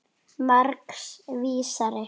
Margs vísari.